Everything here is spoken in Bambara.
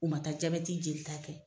U ma taa jabɛti jelita kɛ